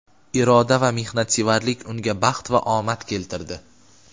iroda va mehnatsevarlik unga baxt va omad keltirdi.